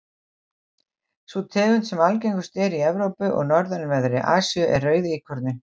sú tegund sem algengust er í evrópu og norðanverðri asíu er rauðíkorninn